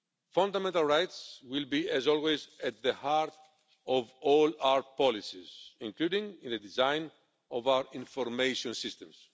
Fundamental rights will be, as always, at the heart of all our policies, including in the design of our information systems.